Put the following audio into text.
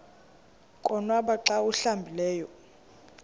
konwaba xa awuhlambileyo